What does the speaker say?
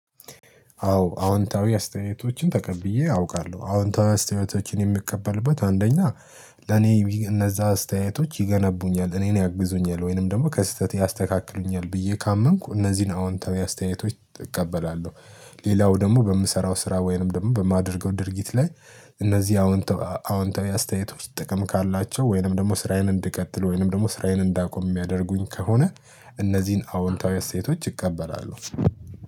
አዎ አዎንታዊ አስተያየቶችን ተቀብዬ አውቃለሁ አዎንታዊ አስተያየቶችን የምቀበልበት አንደኛ ለኔ እነዛ አስተያየቶች ይገነቡኛል እኔን ያግዙኛል ወይንም ደግሞ ከስህተቴ ያስተካክሉኛል ብዬ ካመንኩ እነዚህን አዎንታዊ አስተያየቶች እቀበላለሁ። ሌላው ደግሞ በምሰራው ስራ ወይንም ደግሞ በማደርገው ድርጊት ላይ እነዚህን አዎንታዊ አስተያየቶች ጥቅም ካላቸው ወይንም ደግሞ ስራዬን እንድቀጥል ወይንም ደግሞ ስራዬን እንዳቆም የሚያደርጉኝ ከሆነ እነዚህን አዎንታዊ አስተያየቶች እቀበላለሁ።